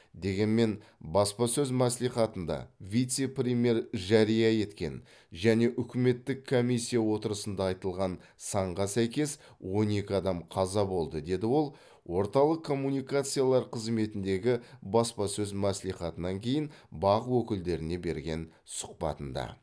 дегенмен баспасөз мәслихатында вице премьер жария еткен және үкіметтік комиссия отырысында айтылған санға сәйкес он екі адам қаза болды деді ол орталық коммуникациялар қызметіндегі баспасөз мәслихатынан кейін бақ өкілдеріне берген сұхбатында